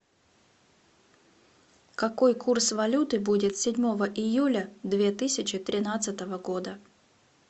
какой курс валюты будет седьмого июля две тысячи тринадцатого года